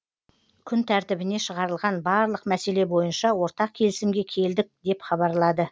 күн тәртібіне шығарылған барлық мәселе бойынша ортақ келісімге келдік деп хабарлады